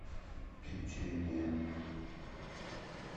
печенье